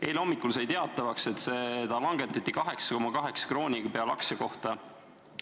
Eile hommikul sai teatavaks, et see vangerdati 8,2 krooniks aktsia kohta.